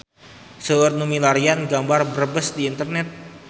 Seueur nu milarian gambar Brebes di internet